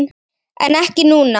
En ekki núna?